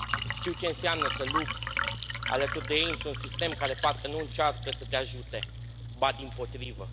Știu ce înseamnă să lupți alături de ei într un sistem care parcă nu încearcă să te ajute, ba dimpotrivă.